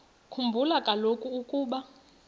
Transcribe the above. khumbula kaloku ukuba